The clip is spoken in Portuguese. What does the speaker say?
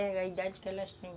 É a idade que elas têm.